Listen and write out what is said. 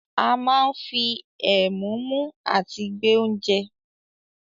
A máa ń fi ẹ̀mú mú àti gbé oúnje.